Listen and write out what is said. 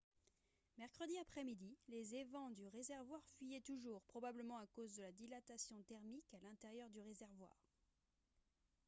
mercredi après-midi les évents du réservoir fuyaient toujours probablement à cause de la dilatation thermique à l'intérieur du réservoir